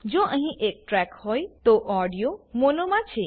જો અહીં એક ટ્રેક હોય તો ઓડીયો મોનો માં છે